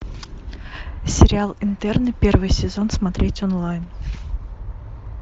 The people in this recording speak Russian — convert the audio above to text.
сериал интерны первый сезон смотреть онлайн